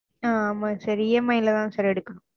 ஆஹ் ஆமா sirEMI ல தா sir எடுக்கனும்